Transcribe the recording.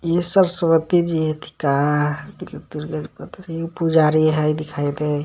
इ सरस्वती जी हथी का मतलब दुर्गा पुजारी हइ दिखाई दे.